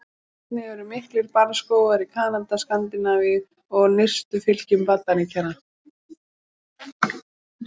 Einnig eru miklir barrskógar í Kanada, Skandinavíu og í nyrstu fylkjum Bandaríkjanna.